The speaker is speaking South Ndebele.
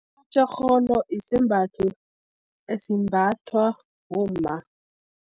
Itjorholo, isembatho esimbathwa, bomma.